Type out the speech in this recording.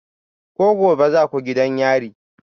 Ko gobe za ku je gidan yari?